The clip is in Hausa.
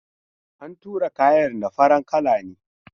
An tura kayan da farar kala ne.